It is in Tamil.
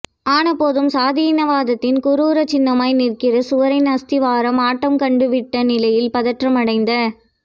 ஆனபோதும் சாதியாணவத்தின் குரூரச் சின்னமாய் நிற்கிற சுவரின் அஸ்திவாரம் ஆட்டம் கண்டுவிட்ட நிலையில் பதற்றமடைந்த